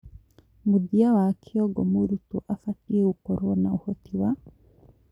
Mũthia wa kĩongo mũrutwo abatie gũkorwo na ũhoti wa